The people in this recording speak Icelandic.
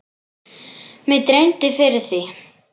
Mig dreymdi fyrir því.